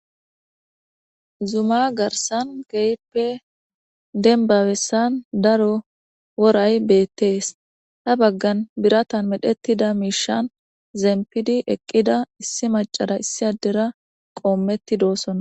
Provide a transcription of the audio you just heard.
Zuma garsan geyppe denbawessan daro woray beettees ta baggan biratan medhettida miishan zeempidi eqqida issi macara issi addera qoommetti doosonna.